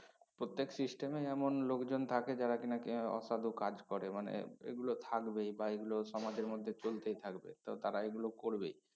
প্রত্যেক system এই এমন লোকজন থাকে যারা কিনা কি অসাধু কাজ করে মানে এগুলো থাকবেই বা এগুলো সমাজের মধ্যে চলতেই থাকবে তো তারা এগুলো করবেই